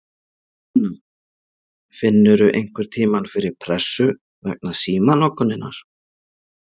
Sunna: Finnurðu einhverntímann fyrir pressu vegna símanotkunarinnar?